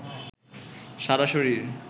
সারা শরীর